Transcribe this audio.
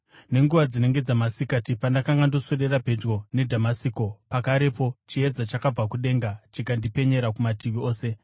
“Nenguva dzinenge dzamasikati pandakanga ndoswedera pedyo neDhamasiko, pakarepo chiedza chakabva kudenga chikandipenyera kumativi ose.